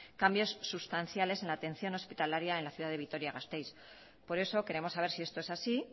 cambios sustanciales en la atención hospitalaria en la ciudad de vitoria gasteiz por eso queremos saber si esto es así y